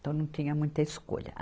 Então não tinha muita escolha. a